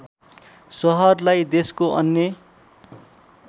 सहरलाई देशको अन्य